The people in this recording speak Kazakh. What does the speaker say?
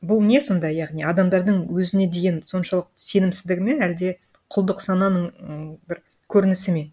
бұл не сонда яғни адамдардың өзіне деген соншалықты сенімсіздігі ме әлде құлдық сананың м бір көрінісі ме